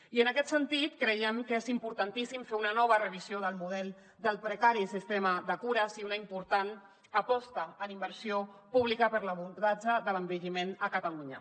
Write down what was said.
i en aquest sentit creiem que és importantíssim fer una nova revisió del model del precari sistema de cures i una important aposta en inversió pública per a l’abordatge de l’envelliment a catalunya